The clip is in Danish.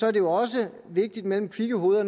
er det jo også vigtigt mellem kvikke hoveder